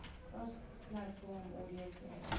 cross platform audio creation